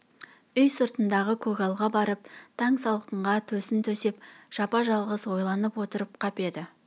үй сыртындағы көгалға барып таң салқынға төсін төсеп жапа-жалғыз ойланып отырып қап еді